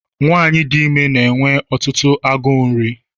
Nwaanyị dị ime na-enwe ọtụtụ agụụ nri.